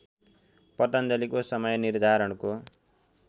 पतञ्जलिको समय निर्धारणको